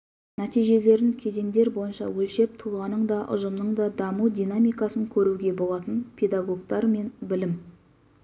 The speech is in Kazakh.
нәтижелерін кезеңдер бойынша өлшеп тұлғаның да ұжымның да даму динамикасын көруге болатын педагогтар мен білім